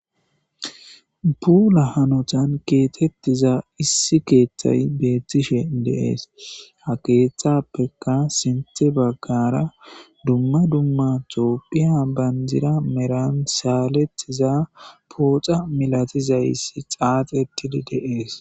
Puula hanotan keexetiza issi keeththay beettishe de'ees ha keeththappeka siinththe baggara dumma dumma toophphiya bandira maran saaletiza pooxa milatizayssi xaaxetidi de'ees